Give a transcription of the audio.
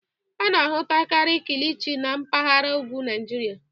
A na-ahụtakari kilichi na mpagara ugwu Naịjịrịa.